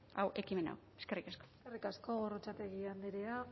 ekimen hau eskerrik asko gorrotxategi andrea